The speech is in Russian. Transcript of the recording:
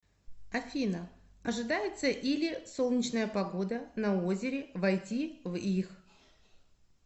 афина ожидается или солнечная погода на озере войти в их